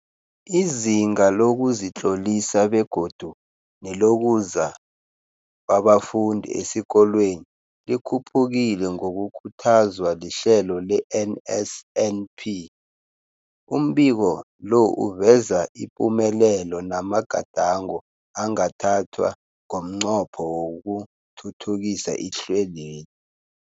Izinga lokuzitlolisa begodu nelokuza kwabafundi esikolweni likhuphukile ngokukhuthazwa lihlelo le-NSNP. Umbiko lo uveza ipumelelo namagadango angathathwa ngomnqopho wokuthuthukisa ihlelweli.